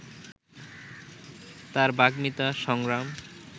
তার বাগ্মিতা, সংগ্রাম